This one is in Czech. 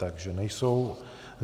Takže nejsou.